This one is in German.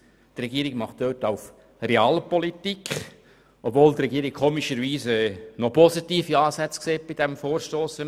Sie betreibt dort also Realpolitik, obwohl sie bei diesem Vorstoss seltsamerweise doch noch positive Ansätze sieht, wenn man die Antwort liest.